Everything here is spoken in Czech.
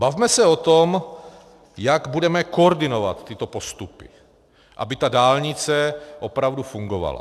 Bavme se o tom, jak budeme koordinovat tyto postupy, aby ta dálnice opravdu fungovala.